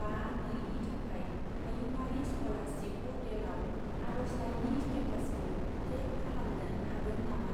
बा नै नि थाखाय हायुंआरि स्कलारसिप पर्टेलाव आरजलाइनि स्टेटासखौ ट्रेक खालामनो हागोन नामा?